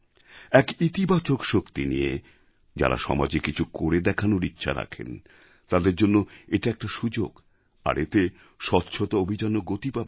এক ইতিবাচক শক্তি নিয়ে যাঁরা সমাজে কিছু করে দেখানোর ইচ্ছা রাখেন তাঁদের জন্য এটা একটা সুযোগ আর এতে স্বচ্ছতা অভিযানও গতি পাবে